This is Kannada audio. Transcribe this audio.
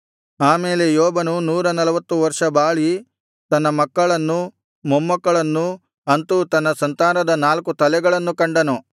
ಆ ಮೇಲೆ ಯೋಬನು ನೂರನಲ್ವತ್ತು ವರ್ಷ ಬಾಳಿ ತನ್ನ ಮಕ್ಕಳನ್ನು ಮೊಮ್ಮಕ್ಕಳನ್ನು ಅಂತು ತನ್ನ ಸಂತಾನದ ನಾಲ್ಕು ತಲೆಗಳನ್ನು ಕಂಡನು